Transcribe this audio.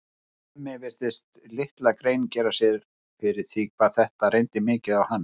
Hemmi virtist litla grein gera sér fyrir því hvað þetta reyndi mikið á hana.